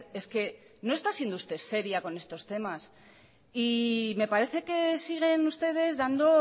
es que no está siendo usted seria con estos temas y me parece que siguen ustedes dando